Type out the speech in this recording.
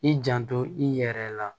I janto i yɛrɛ la